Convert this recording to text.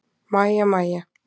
Mæja, Mæja!